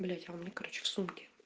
блять а у меня короче в сумке